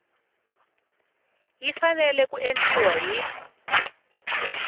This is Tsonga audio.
yi fanele ku endliwa hi